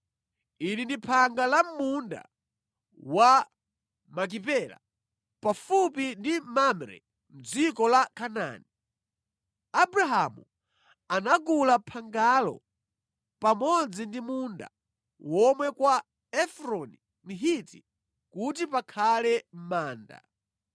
Ili ndi phanga la mʼmunda wa Makipela, pafupi ndi Mamre mʼdziko la Kanaani. Abrahamu anagula phangalo pamodzi ndi munda womwe kwa Efroni Mhiti kuti pakhale manda.